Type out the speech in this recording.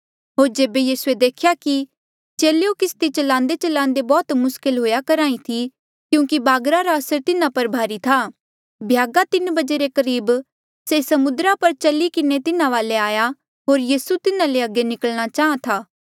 होर जेबे यीसूए देख्या कि चेलेयो किस्ती च्लांदेच्लांदे बौह्त मुस्कल हुएआ करहा ई थी क्यूंकि बागरा रा असर तिन्हा पर भारी था भ्यागा तीन बजे रे करीब से समुद्रा पर चली किन्हें तिन्हा वाले आया होर यीसू तिन्हा ले अगे निकलणा चाहां था